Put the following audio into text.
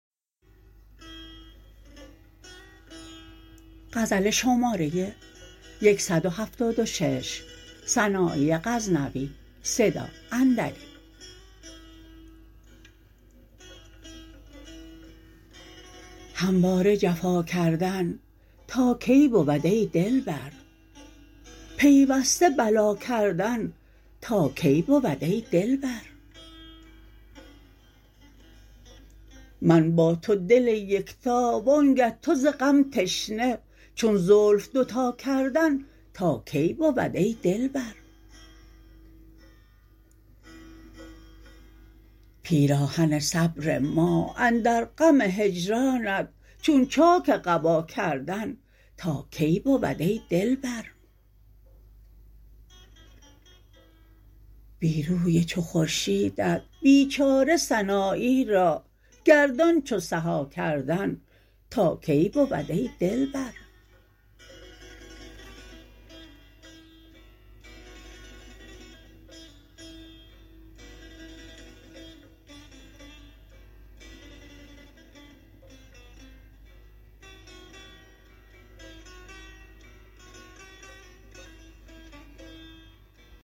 همواره جفا کردن تا کی بود ای دلبر پیوسته بلا کردن تا کی بود ای دلبر من با تو دل یکتا وانگه تو ز غم تشنه چون زلف دوتا کردن تا کی بود ای دلبر پیراهن صبر ما اندر غم هجرانت چون چاک قبا کردن تا کی بود ای دلبر بی روی چو خورشیدت بیچاره سنایی را گردان چو سها کردن تا کی بود ای دلبر